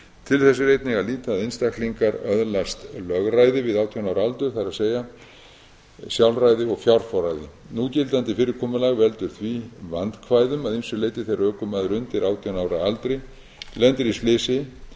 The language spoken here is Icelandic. til þess er einnig að líta að einstaklingar öðlast lögræði við átján ára aldur það er sjálfræði og fjárforræði núgildandi fyrirkomulag veldur því vandkvæðum að ýmsu leyti þegar ökumaður undir átján ára aldri lendir í slysi sem